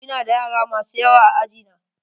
Ina da yara masu yawa a aji na.